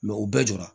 u bɛɛ jɔra